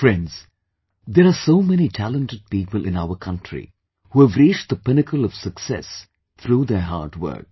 Friends, there are so many talented people in our country who have reached the pinnacle of success through their hard work